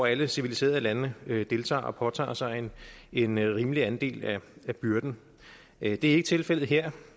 alle civiliserede lande skal deltage og påtage sig en rimelig andel af af byrden det er ikke tilfældet her